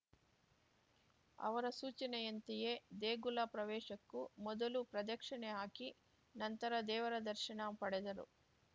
ಅವರ ಸೂಚನೆಯಂತೆಯೇ ದೇಗುಲ ಪ್ರವೇಶಕ್ಕೂ ಮೊದಲು ಪ್ರದಕ್ಷಿಣೆ ಹಾಕಿ ನಂತರ ದೇವರ ದರ್ಶನ ಪಡೆದರು